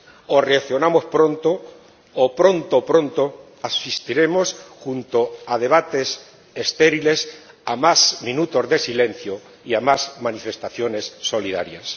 O reaccionamos pronto, o, pronto, pronto, asistiremos, junto a debates estériles, a más minutos de silencio y a más manifestaciones solidarias.